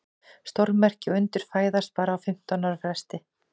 Stórmerki og undur fæðast bara á fimmtán ára fresti.